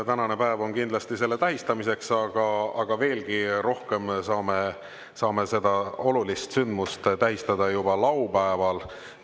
Tänane päev on kindlasti selle tähistamiseks, aga veelgi rohkem saame seda olulist sündmust tähistada juba laupäeval.